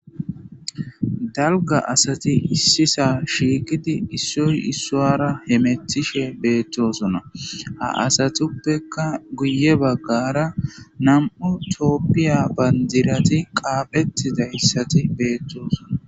dalgga asati issisa shiiqidi issoy issuwarra hemetishshe bettossona ha asatuppekka guye baggara nam'u toophphiya bandirati qaphphettidayssati bettossona